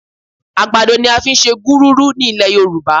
Àgbàdo ni a fi ń ṣe gúrúrú ní ilẹ̀ Yorùbá